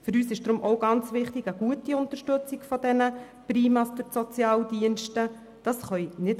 Für uns ist auch eine gute Unterstützung dieser PriMa durch die Sozialdienste sehr wichtig.